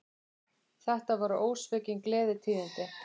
Þetta voru ósvikin gleðitíðindi